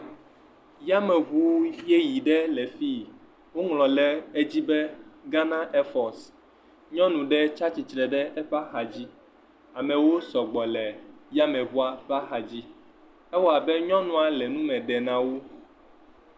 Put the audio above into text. Yameŋu yeye ɖe le fii, woŋlɔ le edzi be Ghana ɛfɔs, nyɔnu ɖe tsa tsitsre ɖe eƒe axa dzi, amewo sɔ gbɔ le yameŋua ƒe axa dzi, ewɔ abe nyɔnua le nume ɖe na wo.